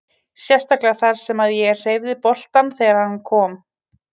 Sérstaklega þar sem að ég hreyfði boltann þegar að hann kom.